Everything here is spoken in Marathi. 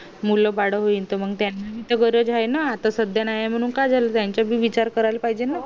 मुलं बाळ होईल त त्याना पण बर राहील ना आता सध्या नाहीये मी काय झालं त्यांचा भी विचार करायला पाहिजे ना